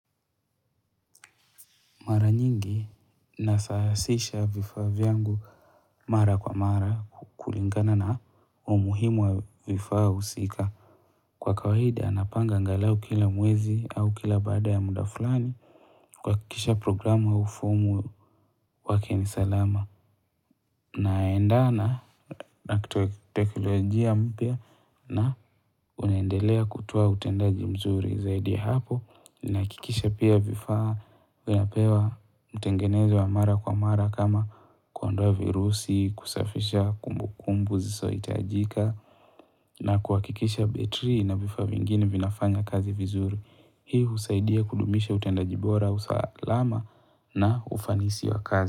Mara nyingi nasahasisha vifaa vyangu mara kwa mara kulingana na umuhimu wa vifaa husika. Kwa kawaida napanga angalau kila mwezi au kila baada ya muda fulani kuhakikisha programu au fomu wake ni salama. Naendana na teknolojia mpya na unaendelea kutoa utendaji mzuri zaidi ya hapo nahakikisha pia vifaa vinapewa utengenezi wa mara kwa mara kama kuondoa virusi, kusafisha kumbukumbu zisohitajika na kuhakikisha betri na vifaa vingine vinafanya kazi vizuri. Hii husaidia kudumisha utendaji bora, usalama na ufanisi wa kazi.